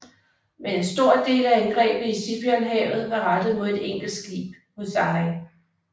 Men en stor del af angrebet i Sibuyanhavet var rettet mod et enkelt skib Musashi